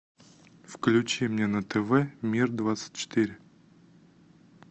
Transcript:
включи мне на тв мир двадцать четыре